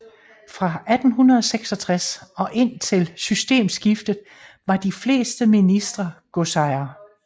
Fra 1866 og indtil systemskiftet var de fleste ministre godsejere